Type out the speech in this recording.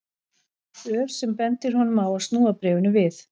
Ör sem bendir honum á að snúa bréfinu við.